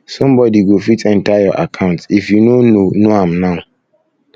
somebody go fit enter your account enter your account if you no know know am now